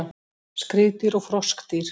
Skriðdýr og froskdýr